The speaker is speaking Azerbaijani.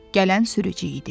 Gələn sürücü idi.